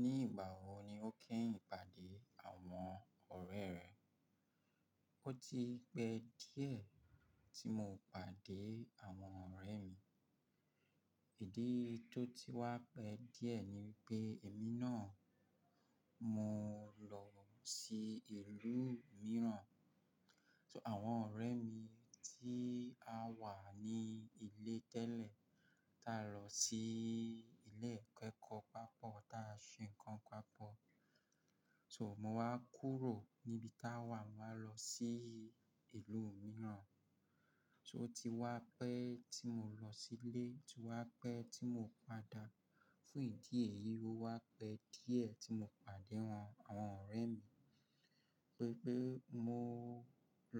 Ní ìgbà wo ni o kẹ́yìn pàdé àwọn ọ̀rẹ́ rẹ? O ti pẹ́ díẹ̀ tí mo pàdé àwọn ọ̀rẹ́ mi. Èdí tó ti wá pẹ́ díẹ̀ ni pé èmi náà mó lọ sí ìlú mìíràn. So àwọn ọ̀rẹ́ mi tí a wà ní ilé tẹ́lẹ̀ tá lọ sí ilé-ẹ̀kọ́ pápọ̀, ta sọ nǹkan papọ̀. So mo wá kúrò níbi tá wà, mo wá lọ sí ìlú mìíràn. So ti wá pẹ́ tí mo lọ sílé, ti wá pẹ́ tí mo padà. Fún ìdí èyí o wá pẹ́ díẹ̀ tí mo pàdé wọn, àwọn ọ̀rẹ́ mi. Pé pé mó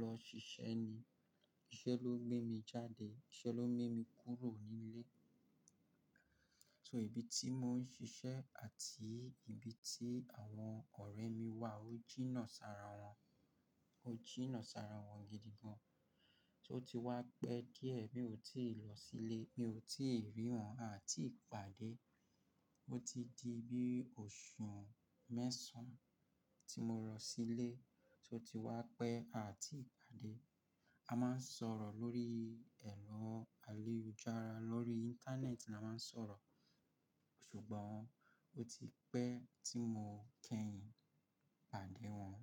lọ ṣiṣẹ́ ni. Iṣẹ́ ló gbé mi jáde, iṣẹ́ ló gbé mí kúrò nílé. So ibi tí mò ń ṣiṣẹ́ àti ibi tí àwọn ọ̀rẹ́ mi wà o jìnnà sára wọn, o jìnnà sára wọn gidi gan. So ti wá pẹ́ díẹ̀ mi ò tíì lọ sílé, mi ò tíì rí wọn àti ìpàdé. O ti di bí oṣù mẹ́sàn-án tí mo lọ sílé, so ti wá pẹ́ àti ìpàdé. A máa ń sọ̀rọ̀ lórí ẹ̀rọ ayélujára, lórí Íńtánẹ́ẹ̀tì la máa ń sọ̀rọ̀. Ṣùgbọ́n o ti pẹ́ tí mo kẹ́yìn pàdé wọn.